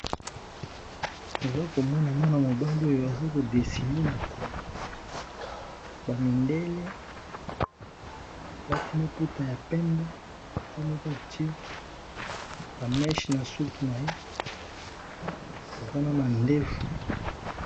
Toza komona mwana mobali ozo aza kodesine na tableau bamindele balati maputa ya pembe ye moka atye jeu bameche na suki na ye aza na mandefu.